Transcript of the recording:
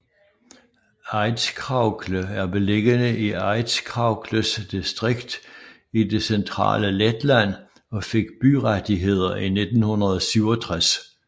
Aizkraukle er beliggende i Aizkraukles distrikt i det centrale Letland og fik byrettigheder i 1967